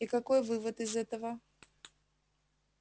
и какой вывод из этого